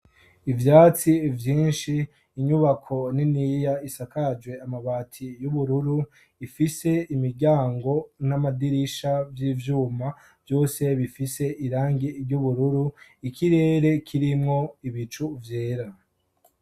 Ivyatsi vyinshi, inyubako niniya isakajwe amabati y'ubururu, ifise imiryango n'amadirisha vy'ivyuma vyose bifise irangi ry'ubururu. Ikirere kirimwo ibicu vyera.